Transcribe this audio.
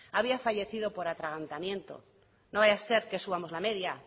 había fallecido por atragantamiento no vaya a ser que subamos la media